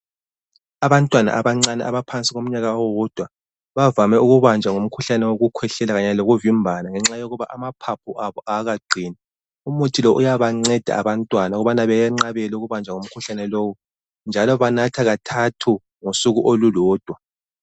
Abantwana abancane abaphansi komnyaka owodwa bavame ukubanjwa ngumkhuhlane wokukhwehlela kanye lokuvimbana ngenxa yokuthi amaphaphu abo awakaqini, umuthi lo uyabanceda abantwana ukubana beyenqabele ukubanjwa ngumkhuhlane lowu njalo banatha kathathu ngosuku olulodwa.